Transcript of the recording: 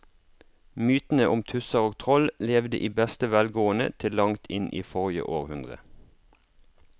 Mytene om tusser og troll levde i beste velgående til langt inn i forrige århundre.